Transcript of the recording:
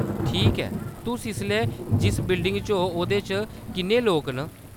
ठीक ऐ, तुस इसलै जिस बिल्डिंग च ओ ओह्‌‌‌‌दे च किन्ने लोक न ?